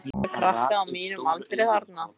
Ég sá marga krakka á mínum aldri þarna.